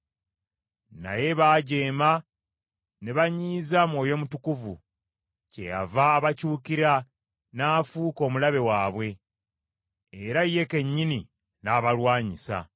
Naye baajeema ne banyiiza Mwoyo Mutukuvu, kyeyava abakyukira n’afuuka omulabe waabwe era ye kennyini n’abalwanyisa.